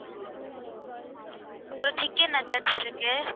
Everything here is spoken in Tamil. அப்பறம் chicken nuggets இருக்கு